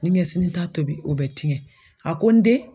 Ni ɲɛ sini ta tobi o bɛ tiɲɛ a ko n den